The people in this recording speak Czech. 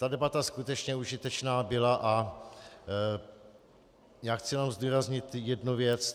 Ta debata skutečně užitečná byla a já chci jenom zdůraznit jednu věc.